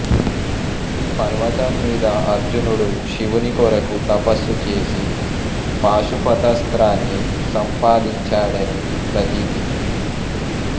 ఈ పర్వతం మీద అర్జునుడు శివుని కొరకు తపస్సు చేసి పాశుపతాస్త్రాన్ని సంపాదించాడని ప్రతీతి